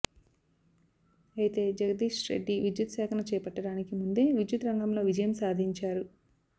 అయితే జగదీశ్రెడ్డి విద్యుత్ శాఖను చేపట్టడానికి ముందే విద్యుత్ రంగంలో విజయం సాధించారు